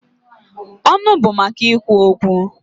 Ọnụ bụ maka ikwu okwu.